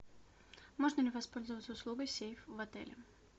можно ли воспользоваться услугой сейф в отеле